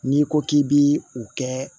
N'i ko k'i bi o kɛ